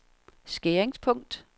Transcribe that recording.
skæringspunkt